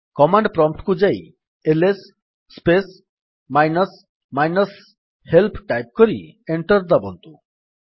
command prompt କୁ ଯାଇ LS space minus minus help type କରି ଏଣ୍ଟର୍ ଦାବନ୍ତୁ